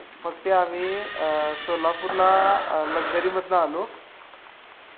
त्यामुळे हवामान बदल हा एक भारतासाठी तर खूप मोठा धोका आहे. आपण पाहिलं की मागच्याच काही दिवसात तर महाराष्ट्र महाराष्ट्रात एक भला मोठा पूर आलता.